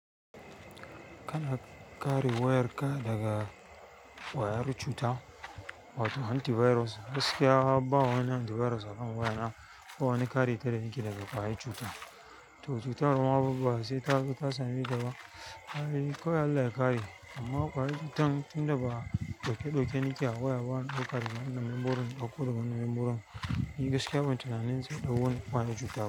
Kana kare wayarka daga ƙwayar cuta, wato antiVirus. Gaskiya ba wani antiVirus akan waya na ba wani kare ta da nake yi data ƙwayar cuta. To cutar ma ba sai ta same ka ba, ai kawai Allah ya kare. Amma ƙwayar cutan tun da ba ɗauke ɗauke nake a waya bab u wani kare daga nanin borin ko daga nanin borin. Ni gaskiya ban tunanin sai ɗau wani wayar cuta ba.